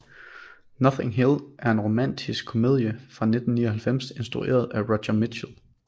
Notting Hill er en romantisk komedie fra 1999 instrueret af Roger Michell